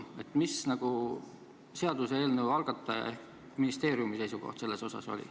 Mis oli seaduseelnõu algataja ehk ministeeriumi seisukoht?